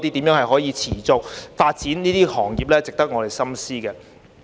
如何持續發展這些行業是值得我們深思的。